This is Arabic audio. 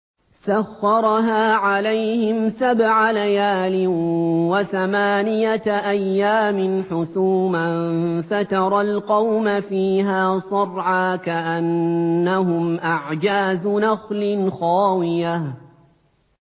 سَخَّرَهَا عَلَيْهِمْ سَبْعَ لَيَالٍ وَثَمَانِيَةَ أَيَّامٍ حُسُومًا فَتَرَى الْقَوْمَ فِيهَا صَرْعَىٰ كَأَنَّهُمْ أَعْجَازُ نَخْلٍ خَاوِيَةٍ